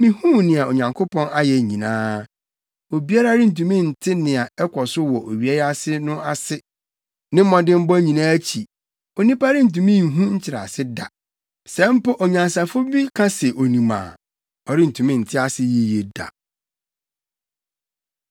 mihuu nea Onyankopɔn ayɛ nyinaa. Obiara rentumi nte nea ɛkɔ so wɔ owia yi ase no ase. Ne mmɔdemmɔ nyinaa akyi, onipa rentumi nhu nkyerɛase da. Sɛ mpo onyansafo bi ka se onim a, ɔrentumi nte ase yiye da.